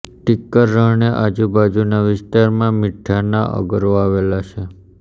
ટિકર રણને આજુબાજુના વિસ્તારમાં મીઠાના અગરો આવેલા છે